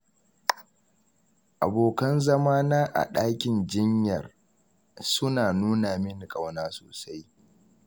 Abokan zama na a ɗakin jinyar suna nuna min ƙauna sosai.